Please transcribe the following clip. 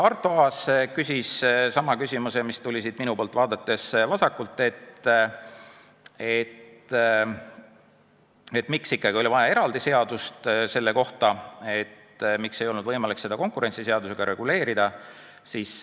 Arto Aas küsis sama küsimuse, mis tuli siit minu poolt vaadates vasakult, miks ikkagi oli vaja selle kohta eraldi seadust, miks ei olnud võimalik seda konkurentsiseadusega reguleerida.